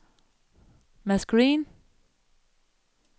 Mads Green